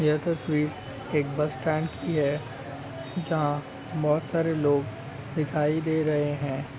यह तस्वीर एक बस स्टैंड की है जहाँ बहुत सारे लोग दिखाई दे रहै हैं।